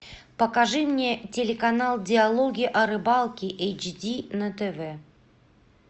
покажи мне телеканал диалоги о рыбалке эйч ди на тв